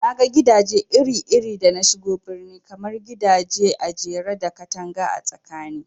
Naga gidaje iri iri da nashigo birni, kamar gidaje ajere da katanga a tsakani